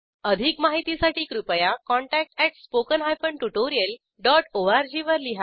अधिक माहितीसाठी कृपया contact at spoken hyphen tutorial dot O R G वर लिहा